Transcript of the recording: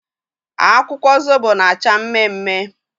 Akwụkwọ zobo na acha mme mme